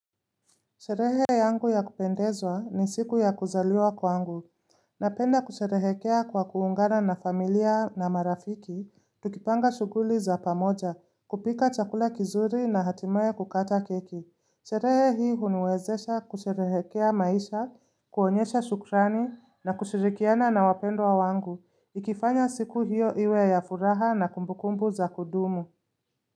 Sherehe yangu ya kupendeza, ni siku ya kuzaliwa kwangu. Napenda kusherehekea kwa kuungana na familia na marafiki. Tukipanga shughuli za pamoja, kupika chakula kizuri na hatimaye kukata keki. Sherehe hii huniwezesha kusherehekea maisha, kuonyesha shukrani na kushirikiana na wapendo wa wangu. Ikifanya siku hiyo iwe ya furaha na kumbukumbu za kudumu.